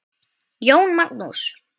Jón Magnús.